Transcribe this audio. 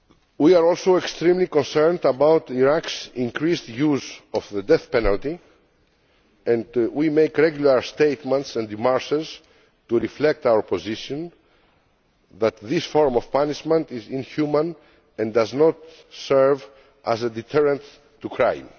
We are also extremely concerned about Iraq's increased use of the death penalty and we make regular statements and démarches to reflect our position that this form of punishment is inhuman and does not serve as a deterrent to crime.